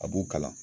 A b'u kalan